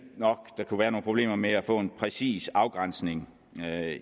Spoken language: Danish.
nok der kunne være nogle problemer med at få en præcis afgrænsning